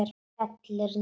Skellur niður.